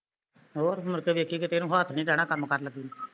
ਹੋਰ ਮੁੜ ਕੇ ਵੇਖੀ ਕਿਤੇ ਇਹਨੂੰ ਹੱਥ ਨੀ ਡੈਣਾਂ ਕੰਮ ਕਰਨ ਲੱਗੀ ਨੂੰ